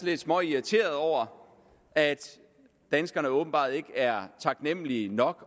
lidt småirriteret over at danskerne åbenbart ikke er taknemlige nok